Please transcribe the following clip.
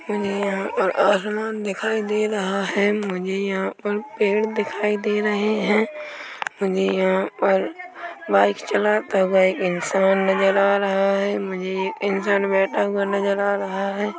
मुझे यहां पर आसमान दिखाई दे रहा है मुझे यहाँ पर पेड़ दिखाई दे रहे है मुझे यहां पर बाइक चलाता हुआ एक इंसान नज़र आ रहा है मुझे इंसान बैठा हुआ नजर आ रहा है।